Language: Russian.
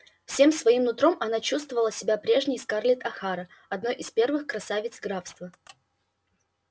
всем своим нутром она чувствовала себя прежней скарлетт охара одной из первых красавиц графства